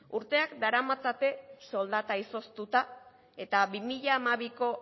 urteak daramatzate soldata izoztuta eta bi mila hamabiko